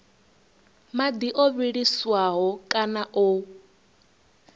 madi o vhiliswaho kana o